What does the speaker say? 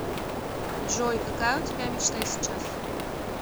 джой какая у тебя мечта сейчас